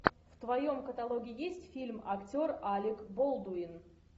в твоем каталоге есть фильм актер алек болдуин